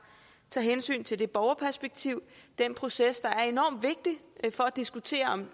tager hensyn til borgerperspektivet den proces der er enormt vigtig for at diskutere om et